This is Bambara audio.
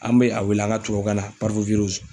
An be a wele an ka tubabukan na